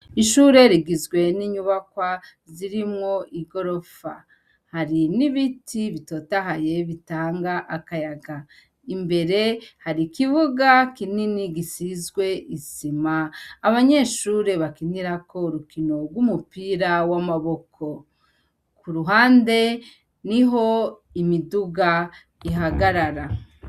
ishure rigizwe n'inyubakwa zirimwo igorofa hari n'ibiti bitotahaye bitanga akayaga imbere hari ikibuga kinini gisizwe isima abanyeshure bakinirako urukino rw'umupira w'amaboko ku ruhande niho imiduga ihagarara